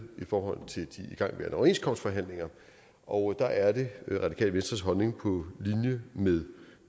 i forhold til de igangværende overenskomstforhandlinger og der er det radikale venstres holdning på linje med